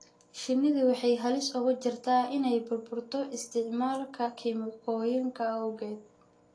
Shinnidu waxay halis ugu jirtaa inay burburto isticmaalka kiimikooyinka awgeed.